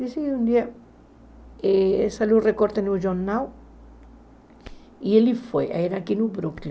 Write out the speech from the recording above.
Disse, um dia, saiu o recorte no jornal, e ele foi, era aqui no Brooklyn.